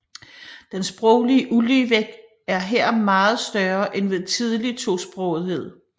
Den sproglige uligevægt er her meget større end ved tidlig tosprogethed